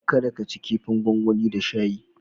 Kada ka ci kifin gwangwani da shayi.